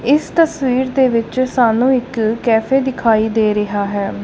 ਇਸ ਤਸਵੀਰ ਦੇ ਵਿੱਚ ਸਾਨੂੰ ਇੱਕ ਕੈਫੇ ਦਿਖਾਈ ਦੇ ਰਿਹਾ ਹੈ।